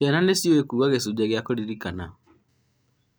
ciana nĩ ciũĩ kuuga gĩcunjĩ kĩa kũririkana